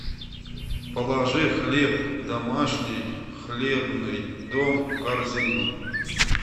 положи хлеб домашний хлебный дом в корзину